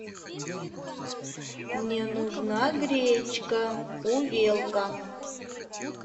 мне нужна гречка увелка